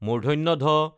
ঢ